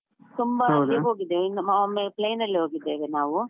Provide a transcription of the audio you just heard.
ತುಂಬಾ ಹೋಗಿದ್ದೇವೆ ಒಮ್ಮೆ plane ಅಲ್ಲಿ ಹೋಗಿದ್ದೇವೆ ನಾವು.